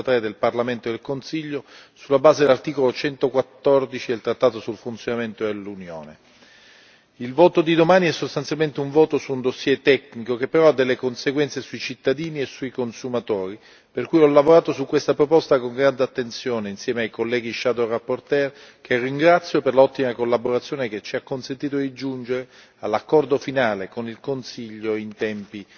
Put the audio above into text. CEE del Consiglio, sulla base dell'articolo 114 del trattato sul funzionamento dell'Unione europea. Il voto di domani è sostanzialmente un voto su un dossier tecnico che però ha delle conseguenze sui cittadini e sui consumatori, per cui ho lavorato su questa proposta con grande attenzione, insieme ai colleghi relatori ombra, che ringrazio per l'ottima collaborazione che ci ha consentito di giungere all'accordo finale con il Consiglio in tempi